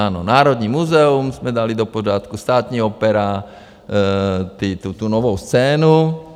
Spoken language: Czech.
Ano, Národní muzeum jsme dali do pořádku, Státní opera, tu novou scénu.